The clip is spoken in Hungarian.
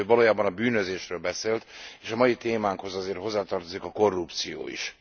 De ő valójában a bűnözésről beszélt, és a mai témánkhoz azért hozzátartozik a korrupció is.